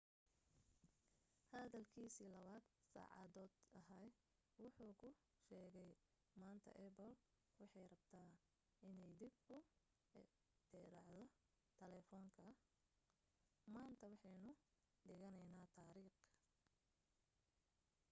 hadalkiisii 2-da saacadood ahaa wuxu ku sheegay maanta apple waxay rabtaa inay dib u ikhtiraacdo telefoonka maanta waxaynu dhigaynaa taariikh